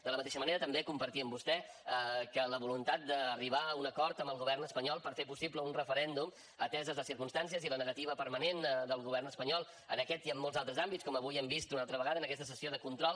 de la mateixa manera també compartir amb vostè que la voluntat d’arribar a un acord amb el govern espanyol per fer possible un referèndum ateses les circumstàncies i la negativa permanent del govern espanyol en aquest i en molts altres àmbits com avui hem vist una altra vegada en aquesta sessió de control